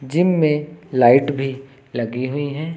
Gym में light भी लगी हुई है।